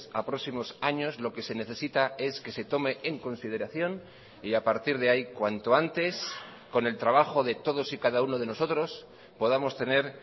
a próximos años lo que se necesita es que se tome en consideración y a partir de ahí cuanto antes con el trabajo de todos y cada uno de nosotros podamos tener